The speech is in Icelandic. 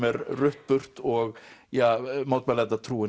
er rutt burt og ja